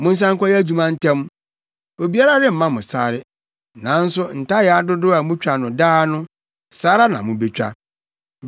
Monsan nkɔyɛ adwuma ntɛm. Obiara remma mo sare, nanso ntayaa dodow a mutwa no daa no, saa ara na mubetwa.”